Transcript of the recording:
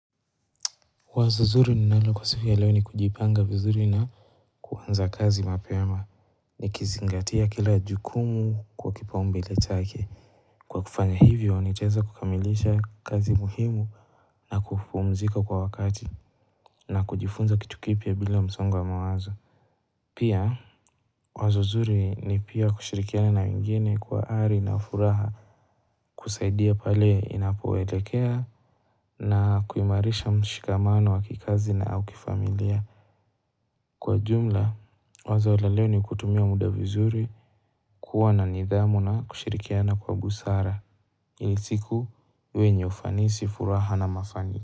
Wazo zuri ninalo kwa siku ya leo ni kujipanga vizuri na kuanza kazi mapema nikizingatia kila jukumu kwa kipaumbele chake. Kwa kufanya hivyo nitaweza kukamilisha kazi muhimu na kupumzika kwa wakati na kujifunza kitu kipya bila msongo wa mawazo. Pia wazo zuri ni pia kushirikiana na wengine kwa ari na furaha kusaidia pale inapoelekea na kuimarisha mshikamano wa kikazi na au kifamilia. Kwa jumla, wazo la leo ni kutumia muda vizuri kuwa na nidhamu na kushirikiana kwa busara ili siku iwe yenye ufanisi, furaha na mafani.